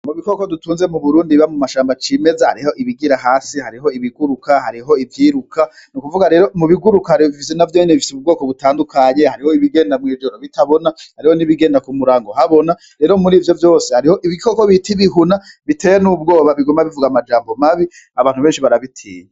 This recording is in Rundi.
Mubikoko dutunze muburundi biba mumashamba cimeza hariho: ibigira hasi, hariho ibiguruka ,hariho ivyiruka, nukuvuga rero mubiguruka navyonyene bifise ubwoko butandukanye hariho ibigenda mw'ijoro bitabona, hariho nibigenda kumurango habona, rero murivyo vyose hariho ibikoko bita ibihuna biteye n'ubwoba biguma bivuga amajambo mabi abantu benshi barabitinya.